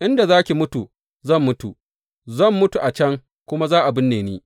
Inda za ki mutu zan mutu, zan mutu a can kuma za a binne ni.